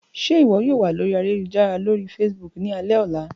Ṣe iwọ yoo wa lori ayelujara lori Facebook ni alẹ ọla?